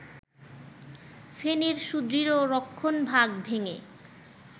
ফেনীর সুদৃঢ় রক্ষণভাগ ভেঙে